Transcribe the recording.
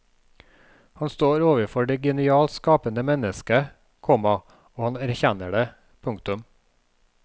Han står overfor det genialt skapende menneske, komma og han erkjenner det. punktum